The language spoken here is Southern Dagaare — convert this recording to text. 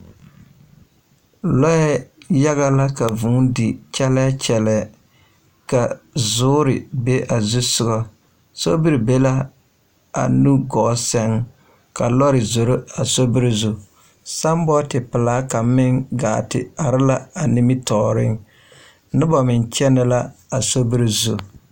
Lɔɛ yaga la ka vuu di kyɛlɛɛ kyɛlɛɛ ka zoore be a zu soga sobiri be la a nu gɔɔ sɛŋ ka lɔre zoro a sobiri zu saambɔɔte pelaa kaŋ meŋ gaa te are la a nimitɔɔreŋ noba meŋ kyɛnɛ la a sobiri zu.